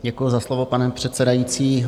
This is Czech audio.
Děkuju za slovo, pane předsedající.